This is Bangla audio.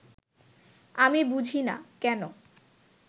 আমি বুঝি না, কেন